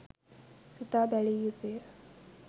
සිතා බැලිය යුතු ය.